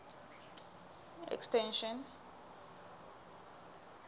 extension